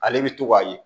Ale bɛ to k'a ye